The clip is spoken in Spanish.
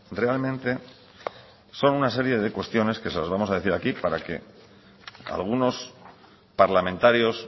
realmente son una serie de cuestiones que se las vamos a decir aquí para que algunos parlamentarios